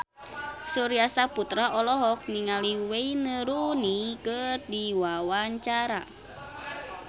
Surya Saputra olohok ningali Wayne Rooney keur diwawancara